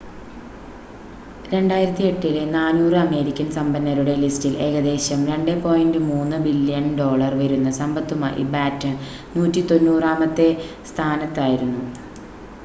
2008-ലെ 400 American സമ്പന്നരുടെ ലിസ്റ്റിൽ ഏകദേശം $2.3 ബില്യൺ വരുന്ന സമ്പത്തുമായി ബാറ്റൺ 190-മത്തെ സ്ഥാനത്തായിരുന്നു